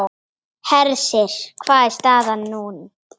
Hersir, hver er staðan núna?